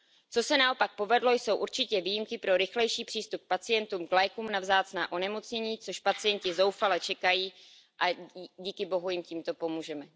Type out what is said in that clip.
Co se naopak povedlo, jsou určitě výjimky pro rychlejší přístup pacientů k lékům na vzácná onemocnění, na což pacienti zoufale čekají, a díky bohu jim takto pomůžeme.